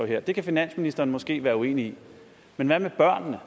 her det kan finansministeren måske være uenig i men hvad med børnene